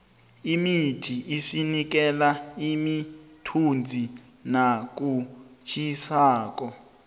imithi isinikela imithunzi nakutjhisako